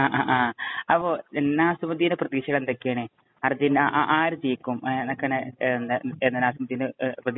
അപ്പൊ നാസിമുദ്ദിന്‍റെ പ്രതീക്ഷകള്‍ എന്തൊക്കെയാണ്? അര്‍ജന്‍റീന ആ ആര് ജയിക്കും? എന്നാണ് നാസിമുദ്ദിന്‍റെ പ്രതീക്ഷകള്‍?